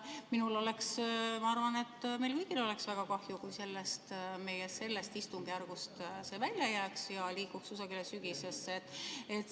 Minul oleks ja ma arvan, et meil kõigil oleks väga kahju, kui see meie sellest istungjärgust välja jääks ja liiguks kusagile sügisesse.